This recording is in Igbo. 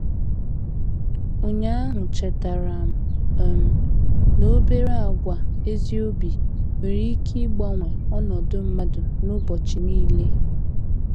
Ụnyaahụ chetaram um n'obere àgwà ezi obi nwere ike ịgbanwe ọnọdụ mmadụ n'ụbọchị niile.